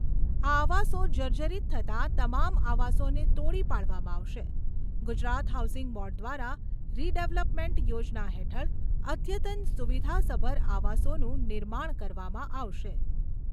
આ આવાસો જર્જરીત થતા તમામ આવાસોને તોડી પાડવામાં આવશે. ગુજરાત હાઉસિંગ બોર્ડ દ્વારા રીડેવલપમેન્ટ યોજના હેઠળ અધ્યત્તન સુવિધાસભર આવાસોનું નિર્માણ કરવામાં આવશે.